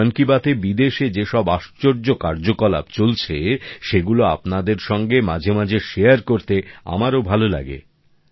এবং মন কি বাতে বিদেশে যেসব আশ্চর্য কার্যকলাপ চলছে সেগুলো আপনাদের সঙ্গে মাঝেমাঝে শেয়ার করতে আমারও ভাল লাগে